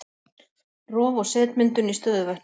Rof og setmyndun í stöðuvötnum